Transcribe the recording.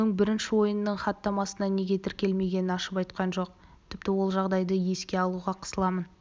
оның бірінші ойынның хаттамасына неге тіркелмегенін ашып айтқан жоқ тіпті ол жағдайды еске алуға қысыламын